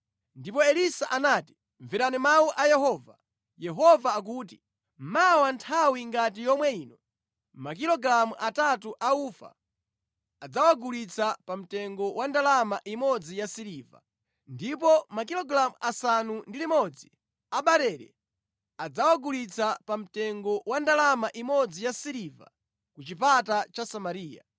Ndipo Elisa anati, “Mverani mawu a Yehova. Yehova akuti, ‘Mawa nthawi ngati yomwe ino, makilogalamu atatu a ufa adzawagulitsa pa mtengo wa ndalama imodzi yasiliva, ndipo makilogalamu asanu ndi limodzi a barele adzawagulitsa pa mtengo wa ndalama imodzi yasiliva ku chipata cha Samariya.’ ”